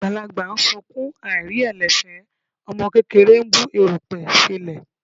Àgbàlagbà ń sunkún aìrí ẹ̀lẹ̀ fẹ́, ọmọ kékeré ń bu erùpẹ̀ sẹ́lẹ̀.